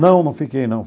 Não, não fiquei, não.